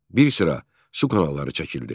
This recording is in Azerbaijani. Bir sıra su kanalları çəkildi.